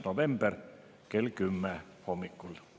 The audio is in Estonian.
november kell 10 hommikul.